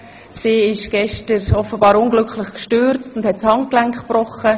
Sie ist gestern offenbar unglücklich gestürzt und hat sich das Handgelenk gebrochen.